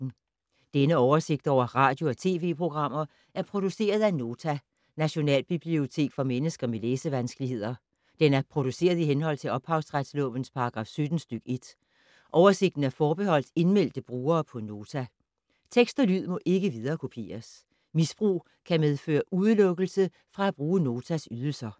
Denne oversigt over radio og TV-programmer er produceret af Nota, Nationalbibliotek for mennesker med læsevanskeligheder. Den er produceret i henhold til ophavsretslovens paragraf 17 stk. 1. Oversigten er forbeholdt indmeldte brugere på Nota. Tekst og lyd må ikke viderekopieres. Misbrug kan medføre udelukkelse fra at bruge Notas ydelser.